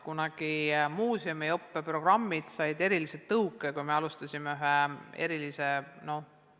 Kunagi said muuseumi õppeprogrammid erilise tõuke, kui me alustasime ühte erilist programmi.